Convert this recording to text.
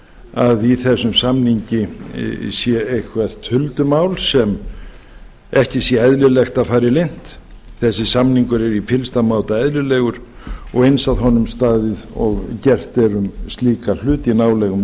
að í þessum samningi sé eitthvert huldumál sem ekki sé eðlilegt að fari leynt þessi samningur er í fyllsta máta eðlilegur og eins að honum staðið og gert er um slíka hluti í nálægum